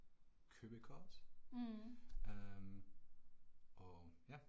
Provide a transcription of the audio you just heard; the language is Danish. Mh